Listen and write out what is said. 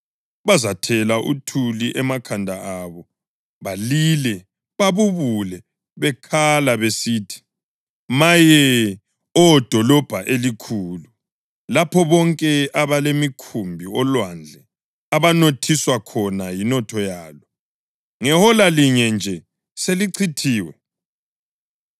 Bazathela uthuli emakhanda abo balile babubule bekhala besithi: “Maye! Maye, Oh dolobho elikhulu, lapho bonke ababelemikhumbi olwandle abanothiswa khona yinotho yalo! Ngehola linye nje selichithiwe!